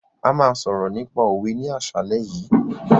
A máa sọ̀rọ̀ nípa òwe ní àsálẹ́ yìí.